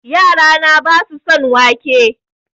Yara na basu son wake